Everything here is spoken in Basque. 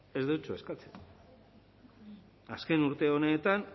ez deutsu eskatzen azken urte honetan